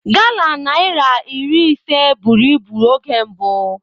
Gala naira iri ise buru ibu oge mbụ.